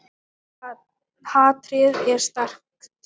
Hatrið er sterkt.